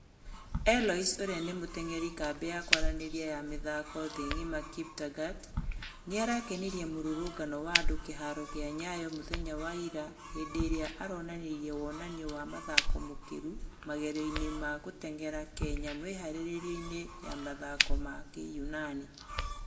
Eloise ũria nĩ mũtengeri kambĩ ya kũaranĩria ya mĩthako thĩ ngima kaptagat , niarakenirie mũrũrũgano wa andũ kiharo gia nyayo mũthenya wa ira henderĩa araonanirie uonanio wa mathako mukiru magerioinĩ ma gũtengera kenya mwĩharĩrĩ-inio ya mĩthako ya kĩyunani